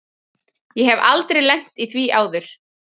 Ég hef aldrei lent í því áður.